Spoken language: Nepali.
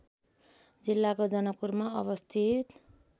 जिल्लाको जनकपुरमा अवस्थित